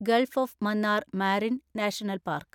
Gulf of Mannar marine national park